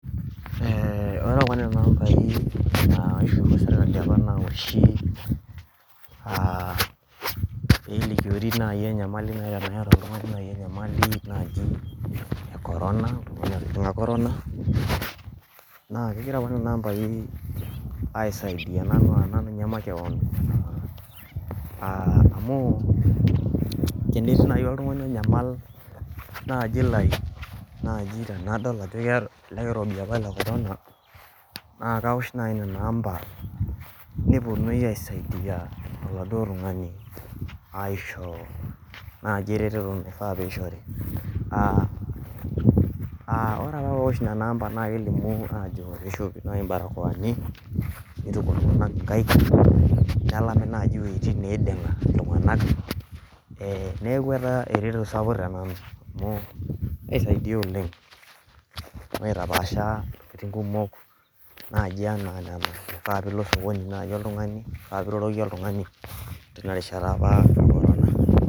ore kuna ampai naishorua sirkali apa nawoshi peelikiori nayii enyamali teneetaa oltung'ani nayii enyamali naji ee corona naa keigira apa nana ampaii aisaidia nanu nye makeon amuu nenetii nayii oltung'ani onyamal naaji tenadol ajo keeta ele irobi apa le corona naa kawosh nayii nena ampa neponui aisaidia oladuo tung'ani aisho naji eretoto naifa piishori ore ake paawosh nenaa ampa naa kelimu ajo piishopi naayi ibarakoani neituku iltung'anak inkaek nelami nayii iweitin neiding'a iltung'anak neeku etaa eretoto sapuk tenanu aisaidia oleng' naitapaasha iweitin kumok naji ena nena naifaa piilo osokoni naii oltumg'ani paa iroroki otung'ani teina rishata apa ee corona